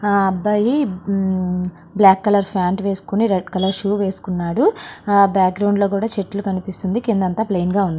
అబ్బాయి black colour pant వేసుకొని red colour shoe వేసుకున్నాడు ఆ బ్యాగ్రౌండ్ లో కూడా చెట్లు కనిపిస్తూ ఉన్నాయి. కింద అంతా ప్లైన్ గా ఉంది.